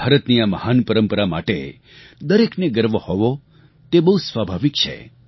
ભારતની આ મહાન પરંપરા માટે દરેકને ગર્વ હોવો તે બહુ સ્વાભાવિક છે